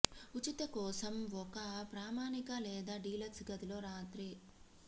ఉచిత కోసం ఒక ప్రామాణిక లేదా డీలక్స్ గదిలో ఒక రాత్రి